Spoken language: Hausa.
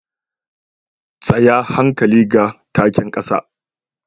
Tsaya hankali ga taken kasa